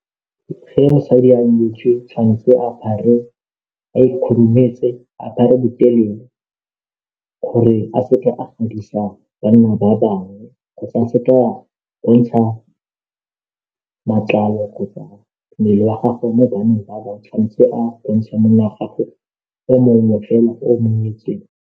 Ge mosadi a nyetswe tshwanetse apare a ikhurumetse a apare botelele gore a seke a gadisa banna ba bangwe kgotsa a seka a bontsha matlalo kgotsa mmele wa gage mo banneng ba ba bangwe tshwanetse a bontsha mmele wa gago mo monneng fela o monyetseng.